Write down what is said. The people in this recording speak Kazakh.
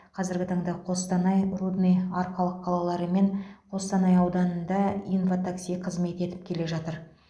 қазіргі таңда қостанай рудный арқалық қалалары мен қостанай ауданында инва такси қызмет етіп келе жатыр